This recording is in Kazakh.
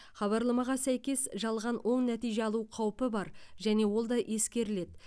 хабарламаға сәйкес жалған оң нәтиже алу қаупі бар және ол да ескеріледі